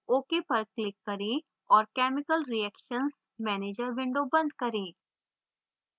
ok पर click करें और chemical reactions manager window बंद करें